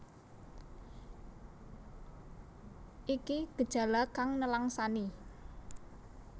Iki gejala kang nelangsani